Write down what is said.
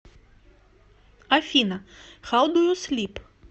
афина хау ду ю слип